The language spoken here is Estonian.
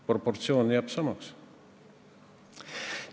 Proportsioon jääb samaks.